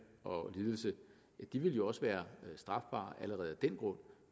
og lidelse ville jo også være strafbare allerede af den grund